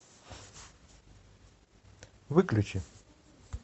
выключи